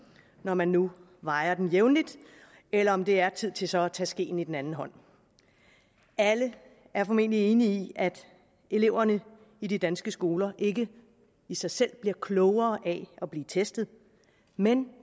når man nu vejer den jævnligt eller om det er tid til så at tage skeen i den anden hånd alle er formentlig enige i at eleverne i de danske skoler ikke i sig selv bliver klogere af at blive testet men